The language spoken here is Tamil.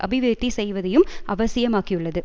அபிவிருத்தி செய்வதையும் அவசியமாக்கியுள்ளது